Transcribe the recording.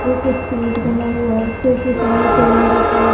एक स्टेज बना हुआ है स्टेज के सामने टेबल रखा है।